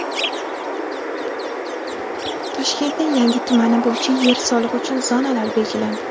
Toshkentning yangi tumani bo‘yicha yer solig‘i uchun zonalar belgilandi.